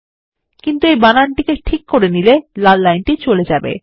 কিন্তু যখন আপনি বানানটি ঠিক করে নেবেন লাল লাইনটি চলে যাবে